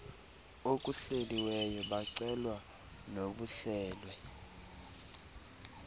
okuhleliweyo bacelwa nobuhlelwe